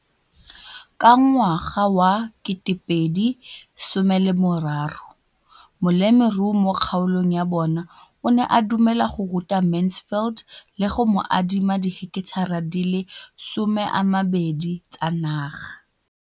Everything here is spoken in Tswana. Ka ngwaga wa 2013, molemirui mo kgaolong ya bona o ne a dumela go ruta Mansfield le go mo adima di heketara di le 12 tsa naga.